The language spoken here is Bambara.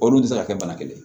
Olu tɛ se ka kɛ bana kelen ye